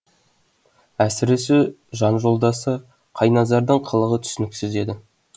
әсіресе жан жолдасы қайназардың қылығы түсініксіз еді